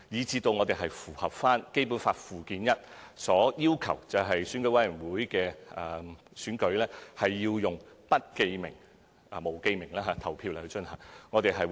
這才能符合《基本法》附件一的要求，即選管會的選舉要用不記名方式進行。